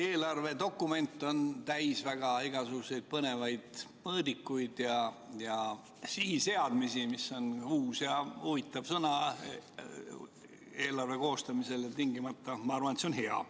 Eelarvedokument on täis igasuguseid põnevaid mõõdikuid ja sihiseadmisi – see on uus ja huvitav sõna eelarve koostamisel ja ma arvan, et see on hea.